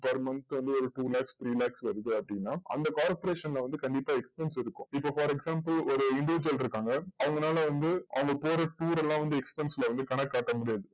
per months க்கு வந்து ஒரு two lakhs three lakhs வருது அப்டின்ன அந்த corporation ல வந்து கண்டிப்பா expense இருக்கும் இப்போ for example ஒரு integer இருக்காங்க அவங்கனால வந்து அவங்க போற tour லா வந்து expense ல வந்து கணக்கு காட்ட முடியாது